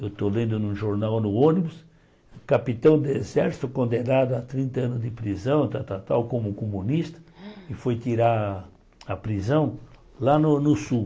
Eu estou lendo num jornal no ônibus, capitão de exército condenado a trinta anos de prisão, tal tal tal como comunista, e foi tirar a prisão lá no no Sul.